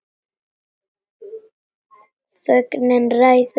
Þögnin ræður ein.